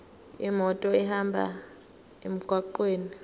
imoto ihambe emgwaqweni